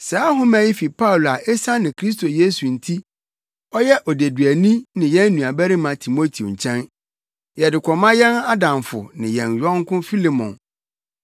Saa nhoma yi fi Paulo a esiane Kristo Yesu nti ɔyɛ odeduani ne yɛn nuabarima Timoteo nkyɛn, Yɛde kɔma yɛn adamfo ne yɛn yɔnko Filemon